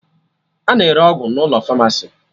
A na-ere ọgwụ n'ụlọ famasi